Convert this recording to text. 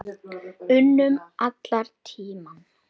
unum allan tímann.